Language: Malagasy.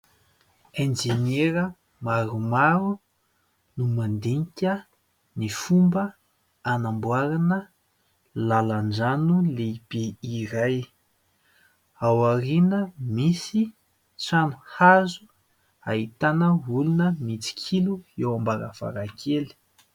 Enjeniera maromaro no mandinika ny fomba anamboarana lalan-drano lehibe iray, ao aoriana misy trano hazo ahitana olona mitsikilo eo am-baravarankely.